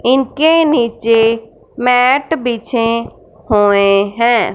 इनके नीचे मैट बिछे हुए हैं।